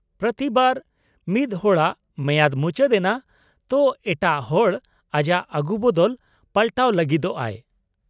-ᱯᱨᱚᱛᱤ ᱵᱟᱨ ᱢᱤᱫ ᱦᱚᱲᱟᱜ ᱢᱮᱭᱟᱫ ᱢᱩᱪᱟᱹᱫ ᱮᱱᱟ ᱛᱚ ᱮᱴᱟᱜ ᱦᱚᱲ ᱟᱡᱟᱜ ᱟᱜᱩ ᱵᱚᱫᱚᱞ ᱯᱟᱞᱴᱟᱣ ᱞᱟᱹᱜᱤᱫᱚᱜᱼᱟᱭ ᱾